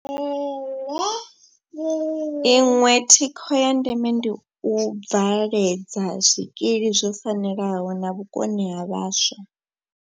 Iṅwe thikho ya ndeme ndi u bvaledza zwikili zwo fanelaho na vhukoni ha vhaswa.